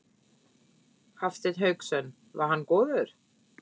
Hafsteinn Hauksson: Var hann góður?